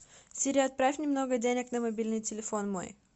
сири отправь немного денег на мобильный телефон мой